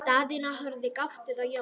Daðína horfði gáttuð á Jón.